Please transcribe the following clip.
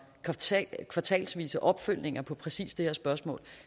kvartalsvise opfølgninger på præcis det her spørgsmål